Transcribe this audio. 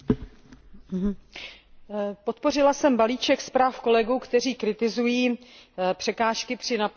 Podpořila jsem balíček zpráv kolegů, kteří kritizují překážky při naplňování politiky soudržnosti.